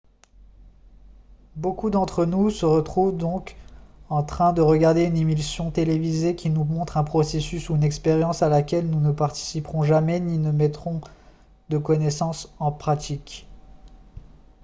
beaucoup d'entre nous se retrouvent donc en train de regarder une émission télévisée qui nous montre un processus ou une expérience à laquelle nous ne participerons jamais ni ne mettrons de connaissances en pratique